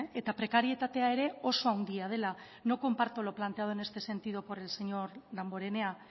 eta prekarietatea ere oso handia dela no comparto lo planteado en este sentido por el señor damborenea